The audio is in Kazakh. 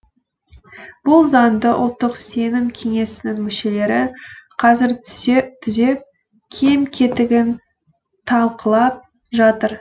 бұл заңды ұлттық сенім кеңесінің мүшелері қазір түзеп кем кетігін талқылап жатыр